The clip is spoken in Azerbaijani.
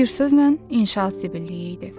Bir sözlə, inşaat zibilliyi idi.